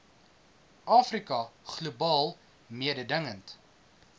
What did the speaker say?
afrika globaal mededingend